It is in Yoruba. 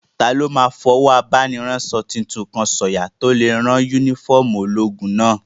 Taló máa fọwọ́ abániránsọ tuntun kan sọ̀yà tó lè rán yúnífọ́ọ̀mù ológun náà?